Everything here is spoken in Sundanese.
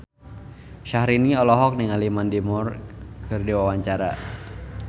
Syahrini olohok ningali Mandy Moore keur diwawancara